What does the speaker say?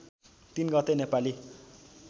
३ गते नेपाली